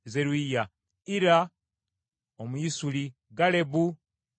Ira Omuyisuli, Galebu Omuyisuli,